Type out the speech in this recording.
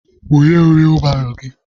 Bunyem wiibaro gị!